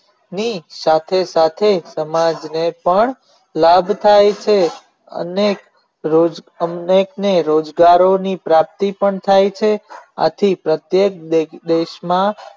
હું સાખો સાખો સમાજ ને પણ લાભ થાય છે અને રોજગારોની પ્રાપ્તિ પણ થાય છે આથી પ્રતેયક દેશ માં